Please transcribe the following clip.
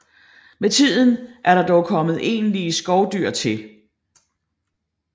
Med tiden er der dog kommet egentlige skovdyr til